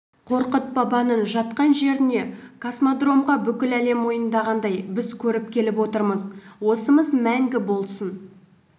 қорқыт бабаның жатқан жеріне космодромға бүкіл әлем мойындағандай біз көріп келіп отырмыз осымыз мәңгі болсын